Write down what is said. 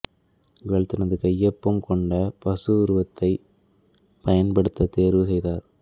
இவள் தனது கையொப்பம் கொண்ட பசு உருவத்தை பயன்படுத்த தேர்வு செய்தார்